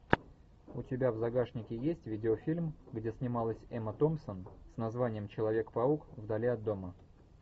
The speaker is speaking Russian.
у тебя в загашнике есть видеофильм где снималась эмма томпсон с названием человек паук вдали от дома